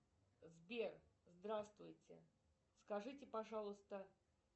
сбер здравствуйте скажите пожалуйста